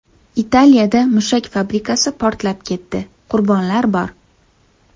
Italiyada mushak fabrikasi portlab ketdi, qurbonlar bor.